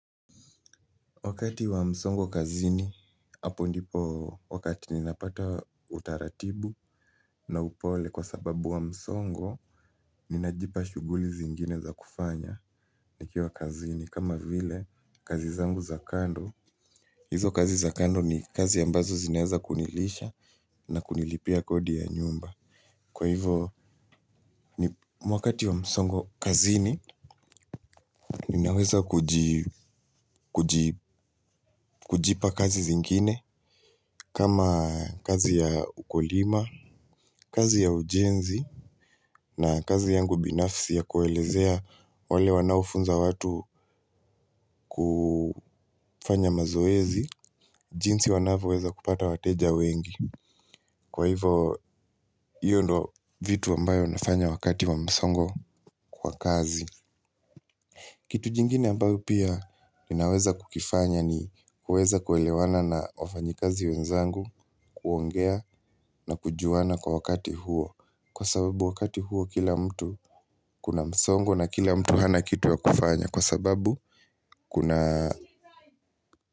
Wakati wa msongo kazini, hapo ndipo wakati ninapata utaratibu na upole kwa sababu ya msongo, ninajipa shughuli zingine za kufanya nikiwa wa kazini. Kama vile, kazi zangu za kando, hizo kazi za kando ni kazi ambazo zinaweza kunilisha na kunilipia kodi ya nyumba. Kwa hivyo ni wakati wa msongo kazini ninaweza kujipa kazi zingine kama kazi ya ukulima, kazi ya ujenzi na kazi yangu binafsi ya kuelezea wale wanaofunza watu kufanya mazoezi, jinsi wanavyoweza kupata wateja wengi. Kwa hivyo hiyo ndo vitu ambayo nafanya wakati wa msongo kwa kazi. Kitu kingine ambao pia ninaweza kukifanya ni kuweza kuelewana na wafanyakazi wenzangu, kuongea na kujuana kwa wakati huo. Kwa sababu wakati huo kila mtu kuna msongo na kila mtu hana kitu ya kufanya. Kwa sababu kuna.